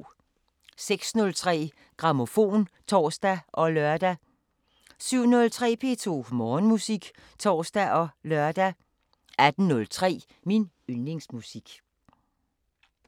06:03: Grammofon (tor og lør) 07:03: P2 Morgenmusik (tor og lør) 18:03: Min yndlingsmusik